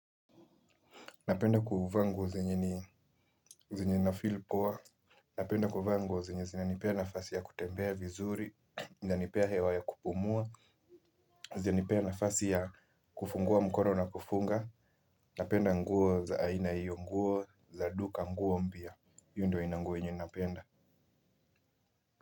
Napenda kuvaa nguo zenye nafeel poa. Napenda kuvaa nguo zenye zinanipea nafasi ya kutembea vizuri. Inanipea hewa ya kupumua. Zinanipea nafasi ya kufungua mkono na kufunga. Napenda nguo za aina hiyo nguo za duka nguo mpya. Hiyo ndo aina ya nguo yenye napenda.